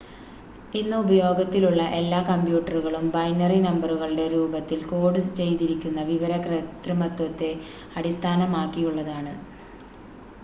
ഇന്ന് ഉപയോഗത്തിലുള്ള എല്ലാ കമ്പ്യൂട്ടറുകളും ബൈനറി നമ്പറുകളുടെ രൂപത്തിൽ കോഡ് ചെയ്തിരിക്കുന്ന വിവര കൃത്രിമത്വത്തെ അടിസ്ഥാനമാക്കിയുള്ളതാണ്